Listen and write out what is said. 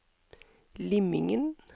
Limingen